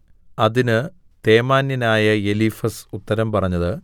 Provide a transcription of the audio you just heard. അതിന് തേമാന്യനായ എലീഫസ് ഉത്തരം പറഞ്ഞത്